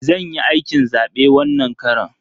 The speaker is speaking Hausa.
Zan yi aikin zabe wannan karon.